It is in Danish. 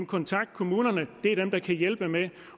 kontakte kommunerne det er dem der kan hjælpe med